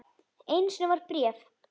Einu sinni var bréf.